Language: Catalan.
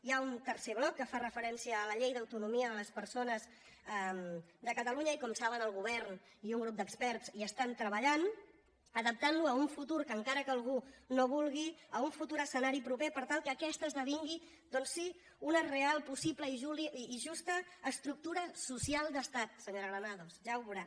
hi ha un tercer bloc que fa referència a la llei d’autonomia de les persones de catalunya i com saben el govern i un grup d’experts hi estan treballant adaptant lo a un futur que encara que algú no vulgui a un futur escenari proper per tal que aquest esdevingui doncs sí una real possible i justa estructura social d’estat senyora granados ja ho veurà